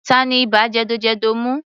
Tani ibà jẹ̀dọ̀jẹ̀dọ̀ mú?